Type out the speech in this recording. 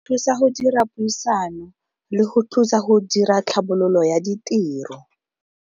Thusa go dira puisano le go thusa go dira tlhabololo ya ditiro.